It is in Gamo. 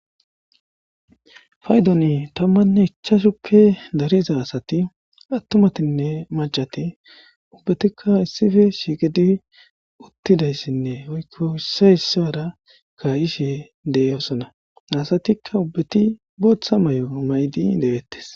faydoni tammanne ichashuppe dariza asati attumatinne macati ubbetikka issife shiqidi uttidayssinne woykko issoy issara ka'ishe dee'osona asatikka ubbeti booththa mayo maydi de'ettes